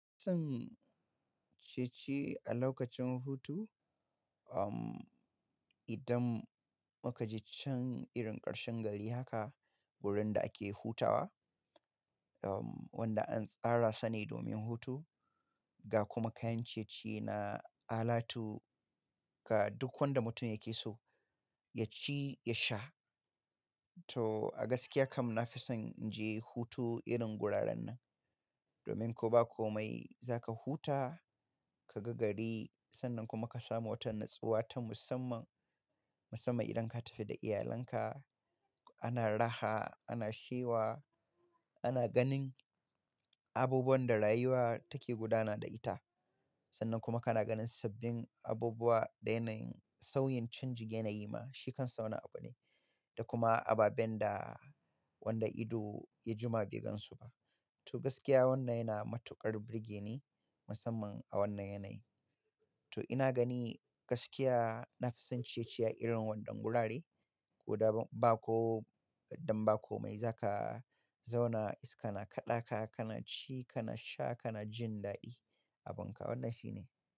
Zan ciye-ciye a lokacin hutu, idan muka je can irin ƙarshen gari haka wurin da ake hutawa, wanda an tsara sane domin hutu ga kuma kayan ciye-ciye na alatu ga duk wanda mutum yake so ya ci ya sha. To a gaskiya kam na fi son in je hutu irin wuraren nan, domin ko ba komai za ka huta ka ga gari sannan kuma ka samu wata natsuwa ta musamman. Musamman idan ka tafi da iyalanka ana raha, ana shewa, ana ganin abubuwan da rayuwa take gudana da ita. Sannan kuma kana ganin sabbin abubuwa, da yanayin sauyin canjin, yanayi ma shi kansa wani abu ne da kuma ababen da wanda ido ya jima bai gansu ba. To gaskiya wannan yana matuƙar birge ni musamman a wannan yanayi. To ina gani gaskiya na fi son ciye-ciye a irin wannan wurare. Ko ba ko dan ba komai za ka zauna iska na kaɗa ka, kana ci, kana sha, kana jin daɗi. Abin ka wannan shi ne.